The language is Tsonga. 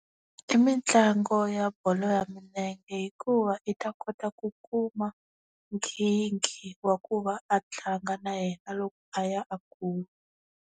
I mitlangu ya bolo ya milenge hikuva i ta kota ku kuma, nkhinkhi wa ku va a tlanga na yena loko a ya a kula.